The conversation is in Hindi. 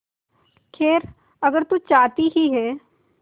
खैर अगर तू चाहती ही है